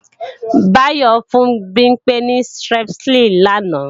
Báyọ́ fún Bimpé ní Strepsil làná